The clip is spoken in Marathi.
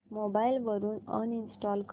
मोबाईल वरून अनइंस्टॉल कर